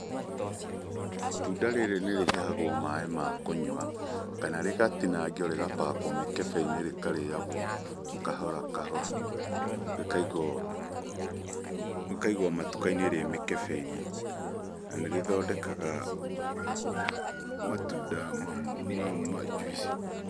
Itunda rĩrĩ nĩ rĩhihagwo maaĩ ma kũnyua kana rĩgatinangio rĩga pack wo mĩkebe-inĩ rĩkarĩagwo kahora kahora rĩkaigwo matuka-inĩ rĩ mĩkĩbe-inĩ . Na nĩrĩthondekaga matunda ma njuici.